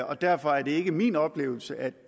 og derfor er det ikke min oplevelse at